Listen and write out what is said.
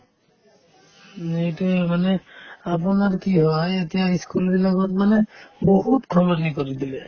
উম, সেইটোয়ে মানে আপোনাৰ কি হয় এতিয়া ই school বিলাকত মানে বহুত সলনি কৰি দিলে